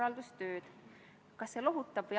Aitäh!